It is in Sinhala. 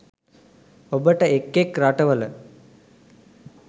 ඔබට එක් එක් රටවල